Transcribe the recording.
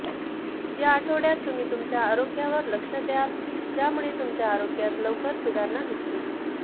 या आठवड्यात तुम्ही तुमच्या आरोग्यावर लक्ष द्याल ज्यामुळे तुमचे आरोग्यात लवकर सुधारणा दिसतील